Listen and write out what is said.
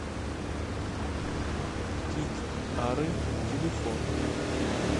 тит ары телефон